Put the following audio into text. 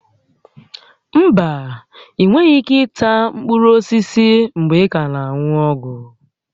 Mba, ịnweghị ike ịta mkpụrụ osisi mgbe ị ka na-aṅụ ọgwụ